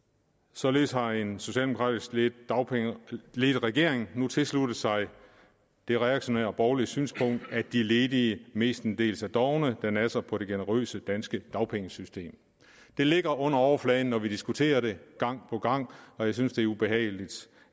således har en socialdemokratisk ledet regering nu tilsluttet sig det reaktionære borgerlige synspunkt at de ledige mestendels er dovne og nasser på det generøse danske dagpengesystem det ligger under overfladen når vi diskuterer det og jeg synes det er ubehageligt